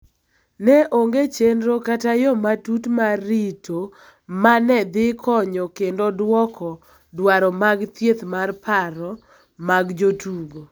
Ne onge chenro kata yo matut mar rito ma ne dhi konyo kendo dwoko dwaro mag thieth mar paro mag jotugo.